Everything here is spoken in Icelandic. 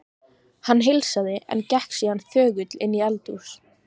Hann heilsaði, en gekk síðan þögull inn í eldhús.